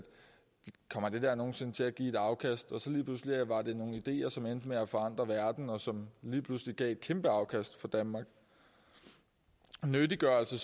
kommer det der mon nogen sinde til at give afkast og som endte med at forandre verden og som lige pludselig gav et kæmpe afkast for danmark nyttiggørelse